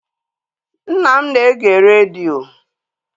Nna m na-ege redio